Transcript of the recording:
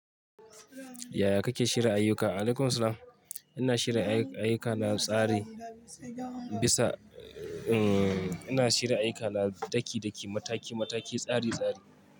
Yaya kake shirya ayuka? Alaikum salam. Ina shirya ayuka ayuka na tsari bisa, ina shirya ayuka na daki daki, mataki mataki, tsari tsari.